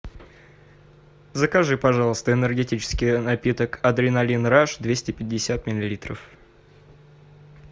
закажи пожалуйста энергетический напиток адреналин раш двести пятьдесят миллилитров